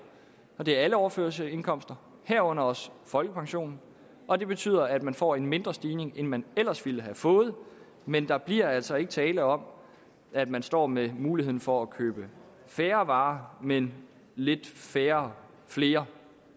det gælder alle overførselsindkomster herunder også folkepensionen og det betyder at man får en mindre stigning end man ellers ville have fået men der bliver altså ikke tale om at man står med muligheden for at købe færre varer men lidt færre flere